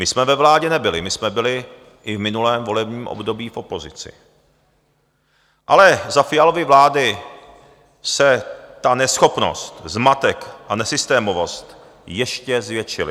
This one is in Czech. My jsme ve vládě nebyli, my jsme byli i v minulém volebním období v opozici, ale za Fialovy vlády se ta neschopnost, zmatek a nesystémovost ještě zvětšily.